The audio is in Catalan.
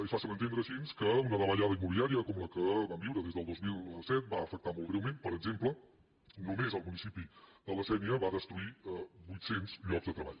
és fàcil entendre així que una davallada immobiliària com la que vam viure des del dos mil set va afectar molt greument per exemple només al municipi de la sénia va destruir vuit cents llocs de treball